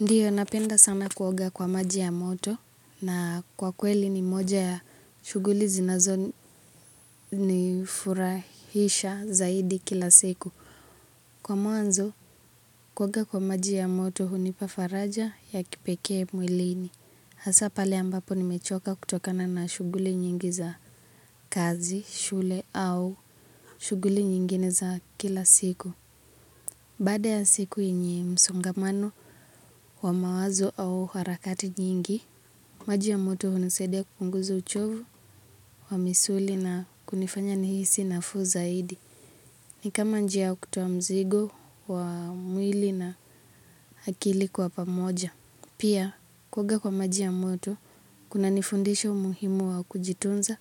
Ndiyo napenda sana kuoga kwa maji ya moto na kwa kweli ni moja ya shughuli zinazonifurahisha zaidi kila siku. Kwa mwanzo kuoga kwa maji ya moto hunipa faraja ya kipekee mwilini. Hasa pale ambapo nimechoka kutokana na shughuli nyingi za kazi, shule au shughuli nyingine za kila siku. Baada ya siku yenye msongamano wa mawazo au harakati nyingi. Maji ya moto hunisaidia kupunguza uchovu wa misuli na kunifanya nihisi nafuu zaidi. Ni kama njia ya kutoa mzigo wa mwili na akili kwa pamoja. Pia, kuoga kwa maji ya moto, kunanifundisha umuhimu wa kujitunza.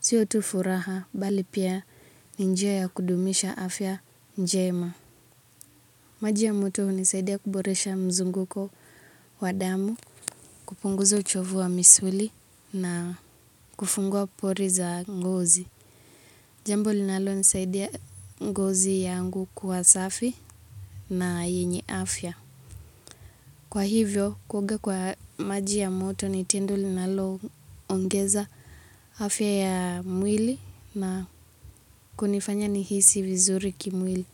Sio tu furaha, bali pia ni njia ya kudumisha afya njema. Maji ya moto hunisaidia kuboresha mzunguko wa damu, kupunguza uchovu wa misuli na kufungua pole za ngozi. Jambo linalonisaidia ngozi yangu kuwa safi na yenye afya. Kwa hivyo, kuoga kwa maji ya moto ni tendo linaloongeza afya ya mwili na kunifanya nihisi vizuri kimwili.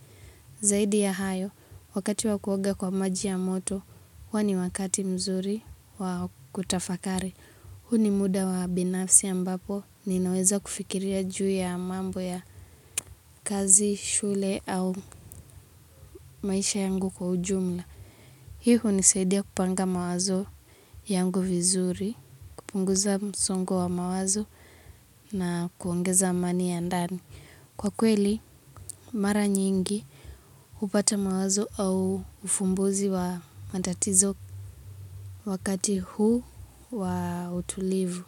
Zaidi ya hayo, wakati wa kuoga kwa maji ya moto, huwa ni wakati mzuri wa kutafakari. Huu ni muda wa binafsi ya ambapo, ninaweza kufikiria juu ya mambo ya kazi, shule au maisha yangu kwa ujumla. Hii hunisaidia kupanga mawazo yangu vizuri, kupunguza msongowa mawazo na kuongeza amani ya ndani. Kwa kweli mara nyingi hupata mawazo au ufumbuzi wa matatizo wakati huu wa utulivu.